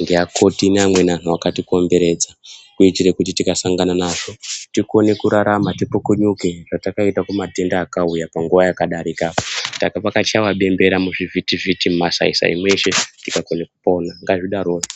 ngea koti nge amweni antu akati komberedza kuitire kuti tika sangana nazvo tikone kurarama ti pukunyuke zvatakaita ku matenda akauya panguva yaka darika kwaka chaiwa bembera muchi vhiti vhiti muma sai sai mese tika pone kupona ngazvi darokwo.